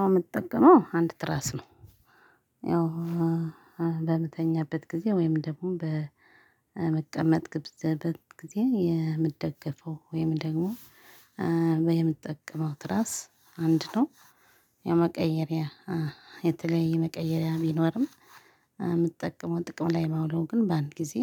አው ምጠቀመው አንድ ትራስ ነው። ያው በምተኛበት ጊዜ ወይም ደግሞ በምቀመጥበት ጊዜ የምደገፈው ወይም ደግሞ የምጠቀመው ትራስ አንድ ነው። የመቀየሪያ የተለየ መቀየሪያ ቢኖርም የምጠቀመው ጥቅም ላይ ማውለው ግን በአንድ ጊዜ